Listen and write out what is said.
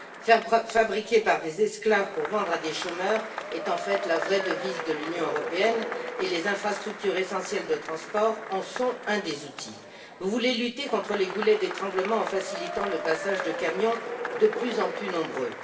Faire fabriquer par des esclaves pour vendre à des chômeurs est en fait la vraie devise de l'Union européenne et les infrastructures essentielles de transport en sont un des outils. Vous voulez lutter contre les goulets d'étranglement en facilitant le passage de camions, de plus en plus nombreux.